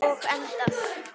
Og endað.